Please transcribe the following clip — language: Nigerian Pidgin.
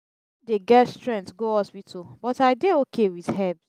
dey get strength go hospital but i dey okay with herbs.